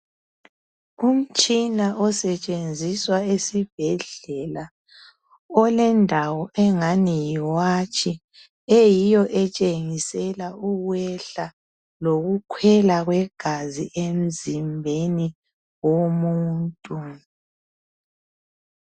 Umtshina osetshenziswa esibhedlela. Ulendawo engani yiwatshi eyiyo etshengisela ukwehla lokukhwela kwegazi emzimbeni womuntu.